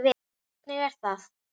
Hvernig er það?